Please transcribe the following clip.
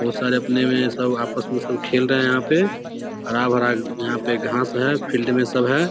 बहुत सारे अपने मे सब आपस मे सब खेल रहे है यहां पे हरा-भरा यहां पे घास है फ़ील्ड मे सब है।